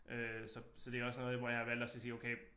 Øh så så det også noget hvor jeg har valgt at så sige okay